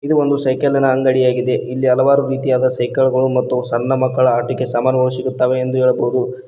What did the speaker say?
ಇದು ಒಂದು ಸೈಕಲ್ಲಿನ ಅಂಗಡಿ ಆಗಿದೆ ಇಲ್ಲಿ ಹಲವಾರು ರೀತಿಯ ಸೈಕಲ್ಗಳು ಮತ್ತು ಸಣ್ಣ ಮಕ್ಕಳ ಆಟಿಕೆ ಸಾಮಾನುಗಳು ಸಿಗುತ್ತವೆ ಎಂದು ಹೇಳಬಹುದು.